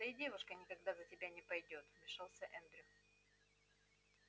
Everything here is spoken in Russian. да и девушка никогда за тебя не пойдёт вмешался эндрю